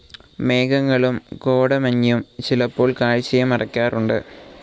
മേഘങ്ങളും കോടമഞ്ഞും ചിലപ്പോൾ കാഴ്ചയെ മറക്കാറുണ്ട്.